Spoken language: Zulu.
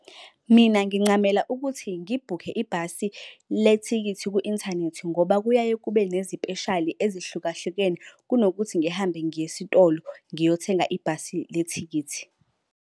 Mina ngincamela ukuthi ngibhukhe ibhasi le thikithi ku-inthanethi ngoba kuyaye kube nezipeshali ezihlukahlukene. Kunokuthi ngihambe ngiye esitolo ngiyothenga ibhasi le thikithi.